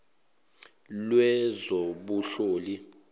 lwezobunhloli